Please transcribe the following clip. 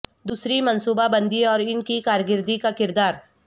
دوسری منصوبہ بندی اور ان کی کارکردگی کا کردار